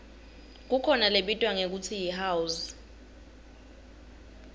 kukhona lebitwa ngekutsi yihouse